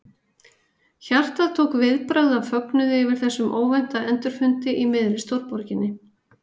Hjartað tók viðbragð af fögnuði yfir þessum óvænta endurfundi í miðri stórborginni.